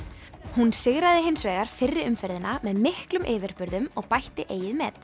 hún sigraði hins vegar fyrri umferðina með miklum yfirburðum og bætti eigið met